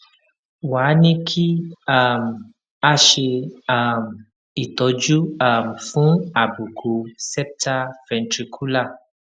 wá a ní kí um a ṣe um ìtọjú um fún àbùkù septal ventricular